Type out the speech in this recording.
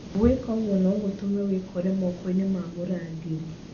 Gwĩka ũguo no gũtũme wĩikore moko-inĩ ma mũrangĩri.